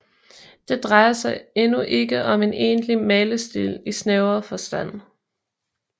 Det drejer sig endnu ikke om en egentlig malestil i snævrere forstand